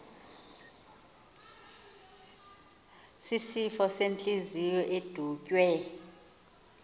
sisifo sentliziyo edutywe